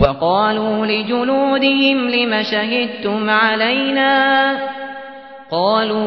وَقَالُوا لِجُلُودِهِمْ لِمَ شَهِدتُّمْ عَلَيْنَا ۖ قَالُوا